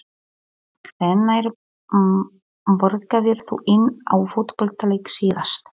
Hvenær borgaðir þú inn á fótboltaleik síðast?